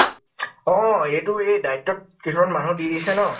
অ । এইটো এই দায়িত্ব ত কিছুমান মানুহ দি দিছে ন ?